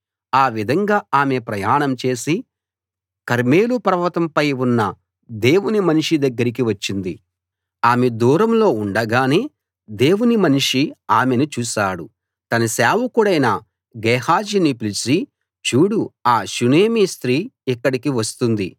ఆ విధంగా ఆమె ప్రయాణం చేసి కర్మెలు పర్వతంపై ఉన్న దేవుని మనిషి దగ్గరికి వచ్చింది ఆమె దూరంలో ఉండగానే దేవుని మనిషి ఆమెను చూశాడు తన సేవకుడైన గేహజీని పిలిచి చూడు ఆ షూనేమీ స్త్రీ ఇక్కడికి వస్తుంది